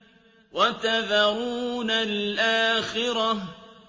وَتَذَرُونَ الْآخِرَةَ